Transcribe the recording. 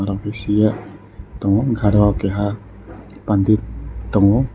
bisingo tongo hingke arok keha pandit tongo.